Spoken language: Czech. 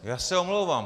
Já se omlouvám.